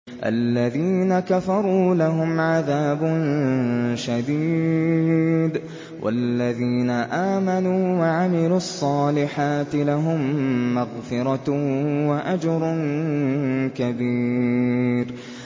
الَّذِينَ كَفَرُوا لَهُمْ عَذَابٌ شَدِيدٌ ۖ وَالَّذِينَ آمَنُوا وَعَمِلُوا الصَّالِحَاتِ لَهُم مَّغْفِرَةٌ وَأَجْرٌ كَبِيرٌ